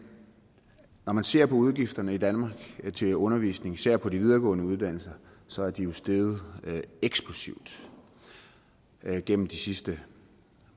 når man ser på udgifterne i danmark til undervisning især på de videregående uddannelser så er de steget eksplosivt gennem de sidste